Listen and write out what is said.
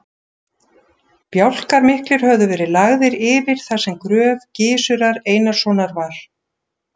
Bjálkar miklir höfðu verið lagðir yfir þar sem gröf Gizurar Einarssonar var.